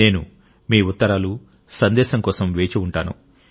నేను మీ ఉత్తరాలు సందేశాల కోసం వేచి ఉంటాను